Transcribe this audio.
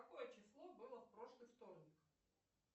какое число было в прошлый вторник